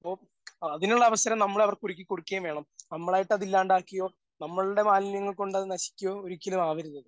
അപ്പോ അതിനുള്ള അവസരം നമ്മൾ അവർക്ക് ഒരുക്കി കൊടുക്കുകയും വേണം. നമ്മളായിട്ട് അത് ഇല്ലാണ്ടാക്കിയോ നമ്മളുടെ മാലിന്യങ്ങൾ കൊണ്ട് അത് നശിക്കുകയോ ഒരിക്കലും ആവരുത് അത്.